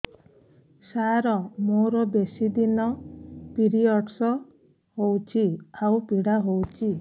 ସାର ମୋର ବେଶୀ ଦିନ ପିରୀଅଡ଼ସ ହଉଚି ଆଉ ପୀଡା ହଉଚି